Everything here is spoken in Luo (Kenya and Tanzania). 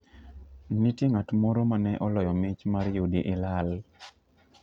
Nitie ng'at moro ma ne oloyo mich mar yudi ilal.